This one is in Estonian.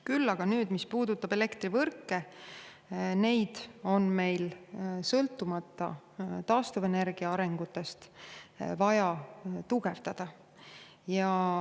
Küll aga on meil elektrivõrke vaja tugevdada sõltumata taastuvenergia arengust.